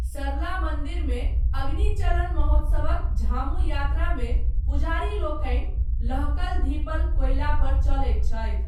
सरला मन्दिरमे, अग्नि चलन महोत्सवक झामु यात्रामे, पुजारीलोकनि, लहकल धीपल कोइलापर चलैत छथि।